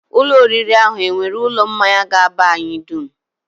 Ụlọ oriri ahụ e nwere ụlọ mmanya ga-aba anyị dum?